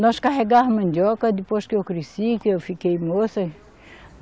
Nós carregava mandioca depois que eu cresci, que eu fiquei moça.